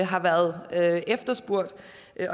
har været efterspurgt